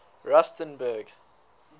rusternburg